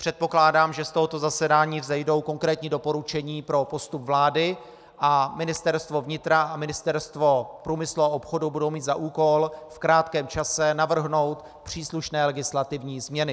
Předpokládám, že z tohoto zasedání vzejdou konkrétní doporučení pro postup vlády, a Ministerstvo vnitra a Ministerstvo průmyslu a obchodu budou mít za úkol v krátkém čase navrhnout příslušné legislativní změny.